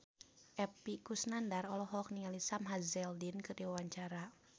Epy Kusnandar olohok ningali Sam Hazeldine keur diwawancara